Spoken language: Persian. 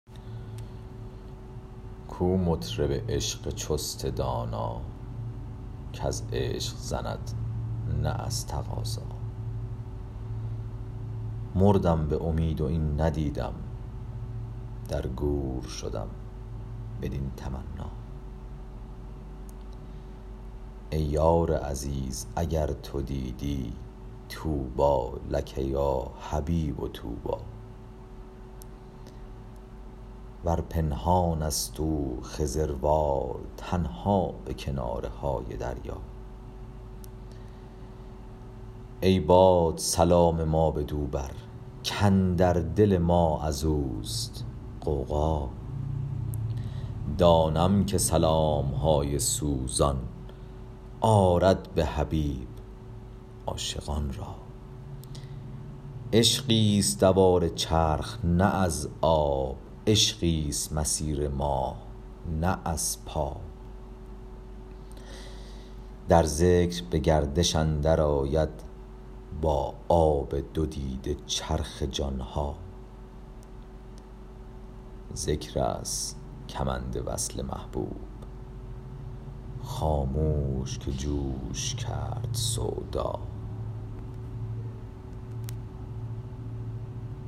کو مطرب عشق چست دانا کز عشق زند نه از تقاضا مردم به امید و این ندیدم در گور شدم بدین تمنا ای یار عزیز اگر تو دیدی طوبی لک یا حبیب طوبی ور پنهانست او خضروار تنها به کناره های دریا ای باد سلام ما بدو بر کاندر دل ما از اوست غوغا دانم که سلام های سوزان آرد به حبیب عاشقان را عشقیست دوار چرخ نه از آب عشقیست مسیر ماه نه از پا در ذکر به گردش اندرآید با آب دو دیده چرخ جان ها ذکرست کمند وصل محبوب خاموش که جوش کرد سودا